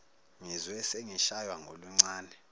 ngizwe sengishaywa ngoluncane